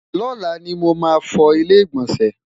lọla ní mọ má fọ ilé igbọnsẹ?